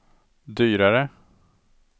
dyrare